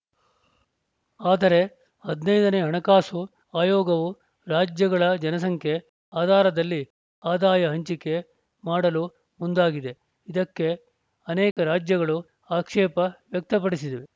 ಆದರೆ ಹದಿನೈದನೇ ಹಣಕಾಸು ಆಯೋಗವು ರಾಜ್ಯಗಳ ಜನ ಸಂಖ್ಯೆ ಆಧಾರದಲ್ಲಿ ಆದಾಯ ಹಂಚಿಕೆ ಮಾಡಲು ಮುಂದಾಗಿದೆ ಇದಕ್ಕೆ ಅನೇಕ ರಾಜ್ಯಗಳು ಆಕ್ಷೇಪ ವ್ಯಕ್ತಪಡಿಸಿದವೆ